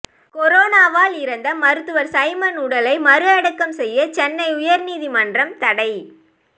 கொரோனாவால் இறந்த மருத்துவர் சைமன் உடலை மறு அடக்கம் செய்ய சென்னை உயர்நீதிமன்றம் தடை